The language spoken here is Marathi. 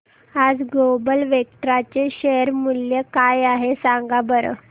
आज ग्लोबल वेक्ट्रा चे शेअर मूल्य काय आहे सांगा बरं